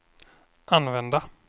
använda